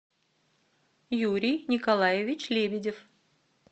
юрий николаевич лебедев